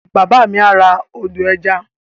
Bàbá mi á ra ọdọ̀-ẹja